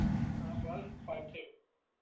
હા બોલ અખિલ